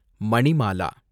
Manimala